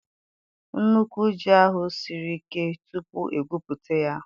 Nnukwu ji ahụ siri ike tupu egwuputa ya.